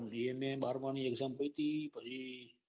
મેં બારમા ની exam આપી હતી. પછી